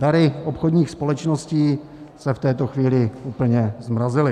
Dary obchodních společností se v této chvíli úplně zmrazily.